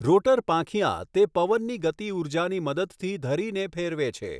Rotor પાંખિયા તે પવનની ગતિઊર્જાની મદદથી ધરીને ફેરવે છે.